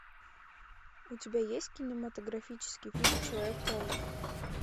у тебя есть кинематографический фильм человек паук